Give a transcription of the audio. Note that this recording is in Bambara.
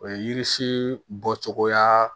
O ye yirisii bɔcogoya